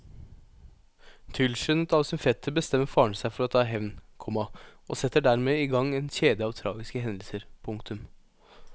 Tilskyndet av sin fetter bestemmer faren seg for å ta hevn, komma og setter dermed i gang en kjede av tragiske hendelser. punktum